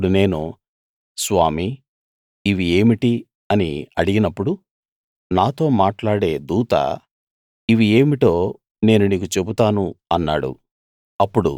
అప్పుడు నేను స్వామీ ఇవి ఏమిటి అని అడిగినప్పుడు నాతో మాట్లాడే దూత ఇవి ఏమిటో నేను నీకు చెబుతాను అన్నాడు